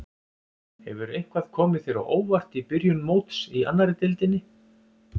Hefur eitthvað komið þér á óvart í byrjun móts í annarri deildinni?